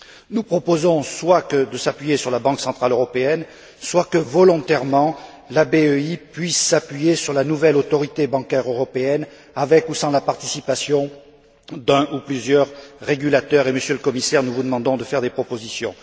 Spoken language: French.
Nous proposons soit de s'appuyer sur la Banque centrale européenne, soit que, volontairement, la BEI puisse s'appuyer sur la nouvelle Autorité bancaire européenne, avec ou sans la participation d'un ou de plusieurs régulateurs et, Monsieur le Commissaire, nous vous demandons de faire des propositions.